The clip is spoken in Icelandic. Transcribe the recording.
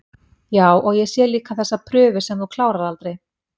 Já, og ég sé líka þessa prufu sem þú klárar aldrei